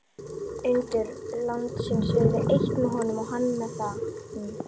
Undur landsins urðu eitt með honum og hann með þeim.